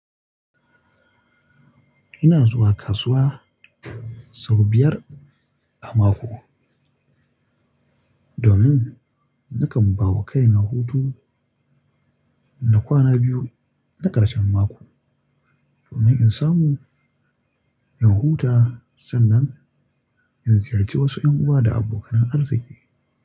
Ina zuwa kasuwa sau biyar a mako domin na kan bawa kai na hutu na kwana biyu na ƙarshen mako domin in samu in huta sannan in ziyarci wasu ƴan uwa da abokanan arziki.